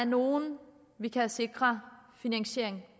nogle vi kan sikre finansiering